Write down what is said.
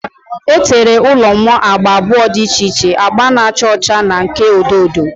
E tere ụlọ m agba abụọ dị iche iche, agba na-acha ọcha na nke odo odo.